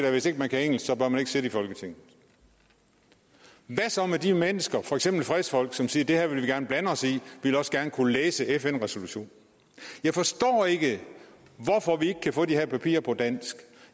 at hvis ikke man kan engelsk bør man ikke sidde i folketinget hvad så med de mennesker for eksempel fredsfolk som siger det her vil vi gerne blande os i vi vil også gerne kunne læse fn resolutionen jeg forstår ikke hvorfor vi ikke kan få de her papirer på dansk